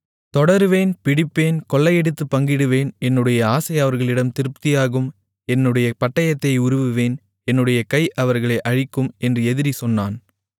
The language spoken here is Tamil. தொடருவேன் பிடிப்பேன் கொள்ளையடித்துப் பங்கிடுவேன் என்னுடைய ஆசை அவர்களிடம் திருப்தியாகும் என்னுடைய பட்டயத்தை உருவுவேன் என்னுடைய கை அவர்களை அழிக்கும் என்று எதிரி சொன்னான்